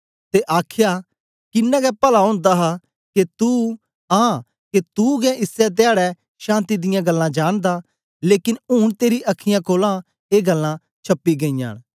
ते आखया किन्ना गै पला ओंदा हा के तू आं तू गै इसै धयाडै शान्ति दियां गल्लां जानदा लेकन ऊन तेरी अखीयाँ कोलां ए गल्लां छपी गईयां न